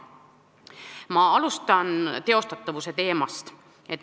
Ma alustan teostatavusest.